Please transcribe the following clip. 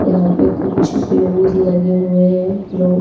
यहाँ पे कुछ ब्रूज लगे हुए हैं ब्लू --